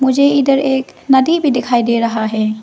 मुझे इधर एक नदी भी दिखाई दे रहा है।